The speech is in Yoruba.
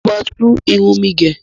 mọ má tún Irun mẹ gé.